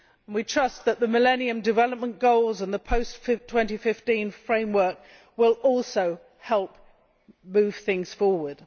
We trust that the Millennium Development Goals and the post 2015 framework will also help move things forward.